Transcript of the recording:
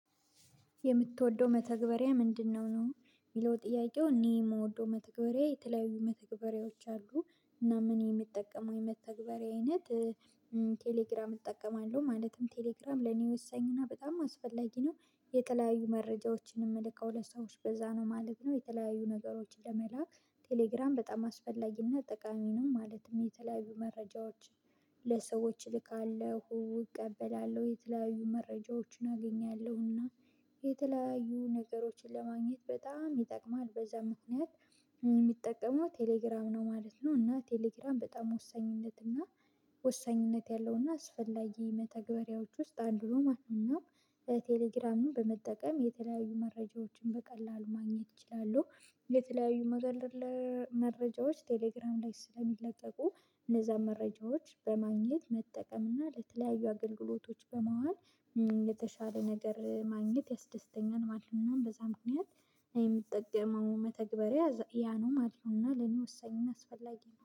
የምትወደው መተግበሪያ ምንድነው ነው? የሚለው ጥያቄው እኔ የምወደው መተግበሪያ የተለያዩ መተግበሪያዎች አሉ እና ምን የሚጠቀመው የመተግበሪያ አይነት ቴሌግራም እጠቀማለሁ። ማለትም ቴሌግራም ለኔ ወሳኝና በጣም አስፈላጊ ነው። የተለያዩ መረጃዎችንም ምልከው ለሰዎች በዛ ነው ማለት ነው። የተለያዩ ነገሮችን ለመላክ ቴሌግራም በጣም አስፈላጊና ጠቃሚንም ማለትም የተለያዩ መረጃዎችን ለሰዎች እልካለሁ፣ እቀበላለሁ የተለያዩ መረጃዎችን አገኛለሁ። እና የተለያዩ ነገሮችን ለማግኘት በጣም ይጠቅማል በዛ ምክንያት የሚጠቀመው ቴሌግራም ነው ማለት ነው። እና ቴሌግራም በጣም ወሳኝነት እና ወሳኝነት ያለው እና አስፈላጊ መተገቢያዎች ውስጥ አንዱ ማለት ነው እና ለቴሌግራሙ በመጠቀም የተለያዩ መረጃዎችን በቀላሉ ማግኘት ይችላሉ። ለተለያዩ መረጃዎች ቴሌግራም ላይ ስለሚለለቀቁ እነዛን መረጃዎች በማግኘት መጠቀም እና ለተለያዩ አገልግሎቶች በማዋል የተሻለ ነገር ማግኘት ያስደስተኛል ማለት ነው። በዛም ምክንያት የምትጠቅመው መተግበሪያ ያ ነው ማለት ነው። እና ለኔ ወሳኝን አስፈላጊ ነው።